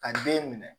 Ka den minɛ